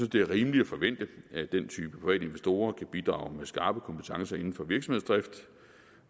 det er rimeligt at forvente at den type private investorer kan bidrage med skarpe kompetencer inden for virksomhedsdrift